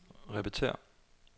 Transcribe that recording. repetér